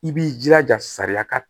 I b'i jilaja sariya ka